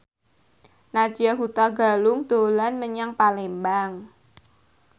Nadya Hutagalung dolan menyang Palembang